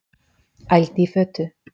Ældi í fötu